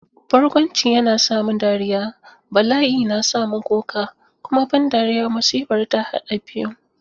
Barkwanci yana sa mu dariya, bala'i na sa mu kuka, kuma ban dariya-musibar ta haɗa biyun.